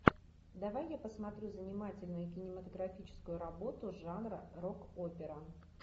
давай я посмотрю занимательную кинематографическую работу жанра рок опера